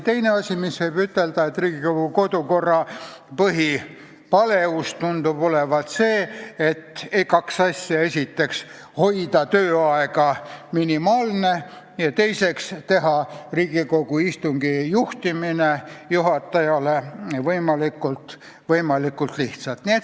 Teine asi, mida võib ütelda, on see, et Riigikogu kodukorra põhipaleusena tunduvad olevat kaks asja: esiteks, hoida tööaeg minimaalne, ja teiseks, teha Riigikogu istungi juhtimine juhatajale võimalikult lihtsaks.